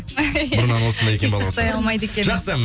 бұрыннан осындай екен балауса кек сақтай алмайды екенмін жақсы